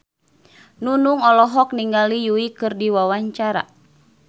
Nunung olohok ningali Yui keur diwawancara